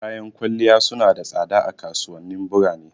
Kayan kwalliya su na da tsada a kasuwanin burane.